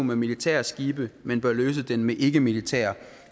med militære skibe men bør løse den med ikkemilitære